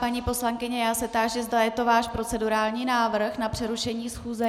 Paní poslankyně, já se táži, zda je to váš procedurální návrh na přerušení schůze.